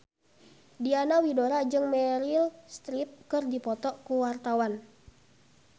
Diana Widoera jeung Meryl Streep keur dipoto ku wartawan